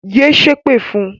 Yé ṣépè fun!